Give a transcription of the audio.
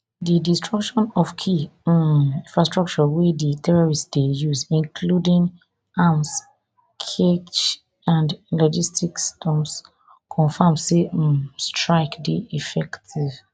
di destruction of key um infrastructure wey di terrorists dey use including arms cache and logistics dumps confam say um di strike dey effective